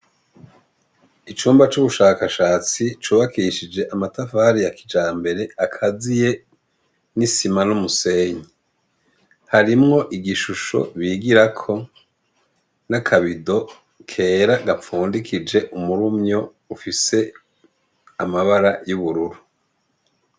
Icumba c’ubushakashatsi cubakishije amatafari ya kijambere, akaziye n’isima n’umusenyi. Harimwo igishusho bigirako n’akabido kera gafundikije umurumyo ufise amabara y’ubururu.